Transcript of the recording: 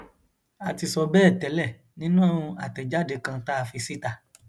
a ti sọ bẹẹ tẹlẹ nínú àtẹjáde kan tá a fi síta